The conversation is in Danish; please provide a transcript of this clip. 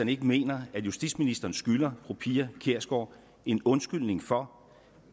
ikke mener at justitsministeren skylder fru pia kjærsgaard en undskyldning for